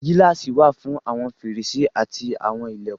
Gíláàsì wà fún àwọn fèrèsé àti àwọn ilẹ̀kùn.